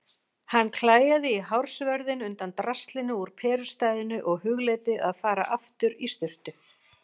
Hann klæjaði í hársvörðinn undan draslinu úr perustæðinu og hugleiddi að fara aftur í sturtu.